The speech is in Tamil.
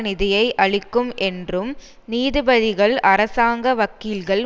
நிதியை அளிக்கும் என்றும் நீதிபதிகள் அரசாங்க வக்கீல்கள்